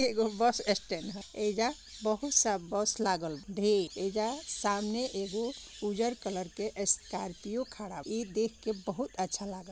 ये एक bus stand है एजा बहुत सा बस लागेल ढे एजा सामने एगो उजल कलर का स्कोर्पिओ खड़ा ई देखकर बहुत अच्छा लगा